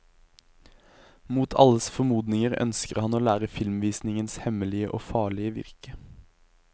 Mot alles formodninger ønsker han å lære filmvisningens hemmelige og farlige virke.